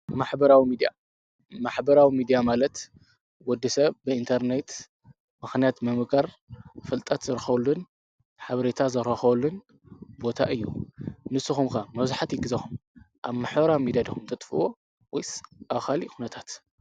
ማሕበራዊ ሚድያ፣ ማሕበራዊ ሚድያ ማለት ወዲ ሰብ ብኢንተርኔት ምኽንያት ብምግባር ፍልጠት ዝረኸበሉን ሓብሬታ ዝረኸበሉን ቦታ እዩ። ንስኩም ከ መብዛሕቲኡ ግዜኹም ኣብ ማሕበራዊ ሚድያ ድኹም ተጥፍእዎ ወይስ ኣብ ካልእ ኹነታት?